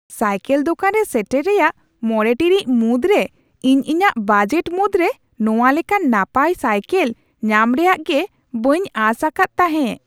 Cycle ᱫᱳᱠᱟᱱ ᱨᱮ ᱥᱮᱴᱮᱨ ᱨᱮᱭᱟᱜ ᱕ ᱴᱤᱲᱤᱡ ᱢᱩᱫᱽᱨᱮ ᱤᱧ ᱤᱧᱟᱹᱜ ᱵᱟᱡᱮᱴ ᱢᱩᱫᱽᱨᱮ ᱱᱚᱶᱟ ᱞᱮᱠᱟᱱ ᱱᱟᱯᱟᱭ ᱥᱟᱭᱠᱮᱞ ᱧᱟᱢ ᱨᱮᱭᱟᱜ ᱜᱮ ᱵᱟᱹᱧ ᱟᱥ ᱟᱠᱟᱫ ᱛᱟᱦᱮᱸ ᱾